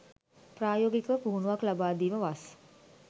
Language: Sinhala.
ප්‍රායෝගික පුහුණුවක් ලබාදීම වස්